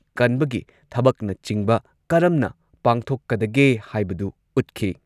ꯀꯟꯕꯒꯤ ꯊꯕꯛꯅꯆꯤꯡꯕ ꯀꯔꯝꯅ ꯄꯥꯡꯊꯣꯛꯀꯗꯒꯦ ꯍꯥꯏꯕꯗꯨ ꯎꯠꯈꯤ꯫